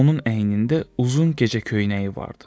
Onun əynində uzun gecə köynəyi vardı.